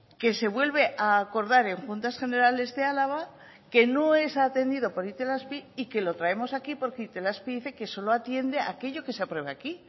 que se vuelve a acordar en juntas generales de álava que no es atendido por itelazpi y que lo traemos aquí porque itelazpi dice que solo atiende aquello que se apruebe aquí